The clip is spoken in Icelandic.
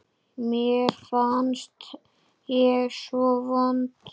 Mér fannst ég svo vond.